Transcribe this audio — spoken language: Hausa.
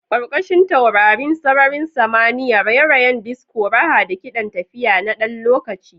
Ƙarƙashin taurarin sararin samaniya, raye-rayen disco, raha da kiɗan tafiya na ɗan lokaci.